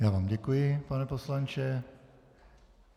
Já vám děkuji, pane poslanče.